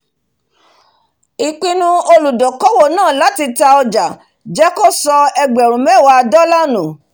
ìpinu olùdókòwò náà láti ta ọjà jẹ́ kó sọ ẹgbẹ̀rún mẹ́wà dọ́là nù